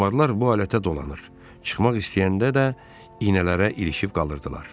Kalmarlar bu alətə dolanır, çıxmaq istəyəndə də iynələrə ilişib qalırdılar.